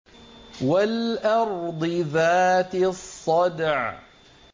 وَالْأَرْضِ ذَاتِ الصَّدْعِ